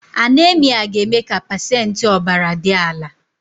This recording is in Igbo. Anaemia ga-eme ka pacentị ọbara dị ala